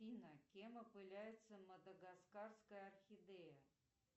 афина кем опыляется мадагаскарская орхидея